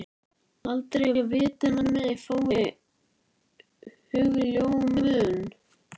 Aldrei að vita nema ég fái hugljómun.